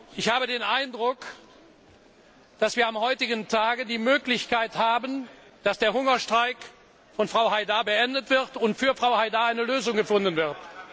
Ich habe den Eindruck, dass wir am heutigen Tag die Möglichkeit haben, dass der Hungerstreik von Frau Haidar beendet wird und für sie eine Lösung gefunden wird.